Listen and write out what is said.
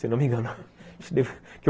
Se não me engano.